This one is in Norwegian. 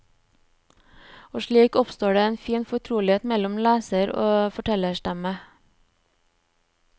Og slik oppstår det en fin fortrolighet mellom leser og fortellerstemme.